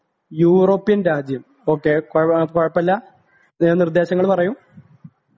European രാജ്യം okay കുഴപ്പമില്ല നിർദ്ദേശങ്ങൾ പറയൂ